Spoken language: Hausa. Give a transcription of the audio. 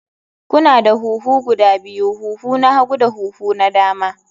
Kuna da huhu guda biyu, huhu na hagu da huhu na dama.